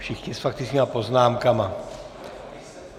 Všichni s faktickými poznámkami.